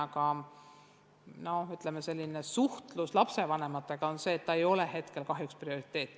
Kuid lapsevanematega suhtlemise põhjal võib öelda, et see teema ei ole hetkel kahjuks prioriteet.